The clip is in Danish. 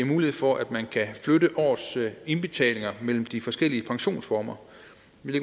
mulighed for at man kan flytte årets indbetalinger mellem de forskellige pensionsformer